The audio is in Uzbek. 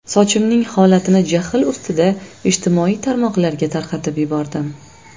Sochimning holatini jahl ustida ijtimoiy tarmoqlarga tarqatib yubordim.